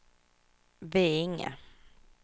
Veinge